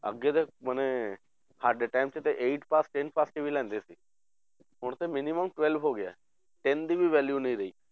ਅੱਗੇ ਤਾਂ ਮਨੇ ਸਾਡੇ time 'ਚ ਤਾਂ eight pass ten pass ਵੀ ਲੈਂਦੇ ਸੀ ਹੁਣ ਤੇ minimum twelve ਹੋ ਗਿਆ ten ਦੀ ਵੀ value ਨਹੀਂ ਰਹੀ